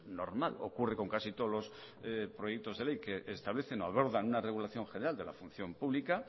normal ocurre con casi todos los proyectos de ley que establecen o abordan una regulación general de la función pública